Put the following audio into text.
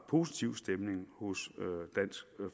positiv stemning hos dansk